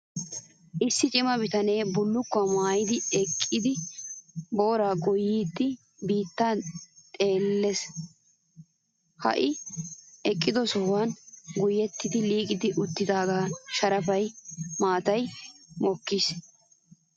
issi cima bitanee bullukkuwaa maayyidi eqqidi booraa goyyiyaa bitaniya xeelles. Ha I eqqido sohayi goyettidi liiqi uttidaagan sharapa maatayi mokkis.